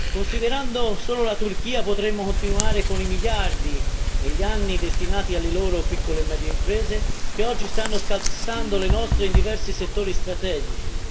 Considerando solo la Turchia potremmo continuare con i miliardi, negli anni destinati alle loro piccole e medie imprese, che oggi stanno scalzando le nostre in diversi settori strategici.